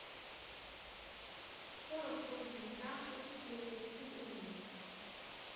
сорок восемь франков перевести в рубли